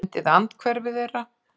Fundið andhverfu þeirra.